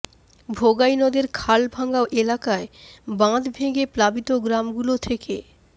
ভোগাই নদের খালভাঙ্গা এলাকায় বাঁধ ভেঙে প্লাবিত গ্রামগুলো থেকে